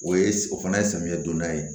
O ye o fana ye samiyɛ donda ye